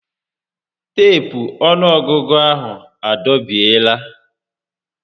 Teepu ọnụọgụgụ ahụ a dọbiela